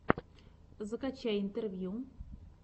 закачай интервью